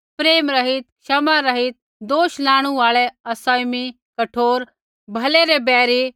प्रेमरहित क्षमारहित दोष लाणु आल़ै असँयमी कठोर भलै रै बैरी